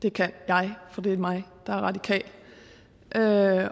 det kan jeg for det er mig der er radikal og